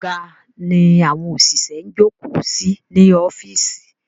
Àga ni àwọn òṣìṣẹ́ ń jókòó sí ní ọ́fíìsì.